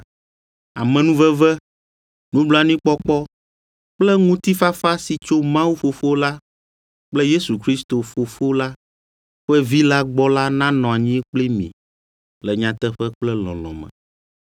Amenuveve, nublanuikpɔkpɔ kple ŋutifafa si tso Mawu Fofo la kple Yesu Kristo, Fofo la ƒe Vi la gbɔ la nanɔ anyi kpli mi le nyateƒe kple lɔlɔ̃ me.